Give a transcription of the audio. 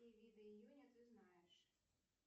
какие виды июня ты знаешь